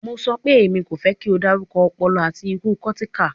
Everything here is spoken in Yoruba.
Mo sọ pe, Emi ko fẹ ki o darukọ ọpọlọ ati iku cortical